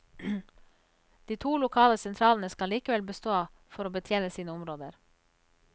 De lokale sentralene skal likevel bestå for å betjene sine områder.